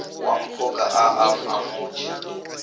wa mphoka a a amuše